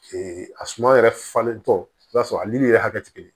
a suma yɛrɛ falentɔ i b'a sɔrɔ a yɛrɛ hakɛ te kelen ye